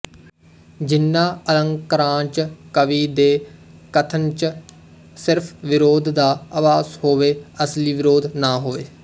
ਜਿਹਨਾਂ ਅਲੰਕਾਰਾਂਚ ਕਵੀ ਦੇ ਕਥਨਚ ਸਿਰਫ਼ ਵਿਰੋਧ ਦਾ ਆਭਾਸ ਹੋਵੇ ਅਸਲੀ ਵਿਰੋਧ ਨਾ ਹੋਵੇ